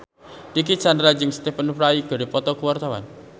Dicky Chandra jeung Stephen Fry keur dipoto ku wartawan